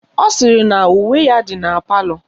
Ọ sịrị na uwe ya dị na palọ